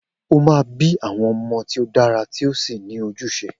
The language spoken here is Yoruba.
O máa bí àwọn ọmọ tí ó dára tí ó sì ní ojúṣe